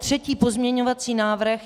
Třetí pozměňovací návrh.